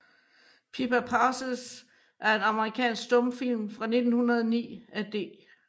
Pippa Passes er en amerikansk stumfilm fra 1909 af D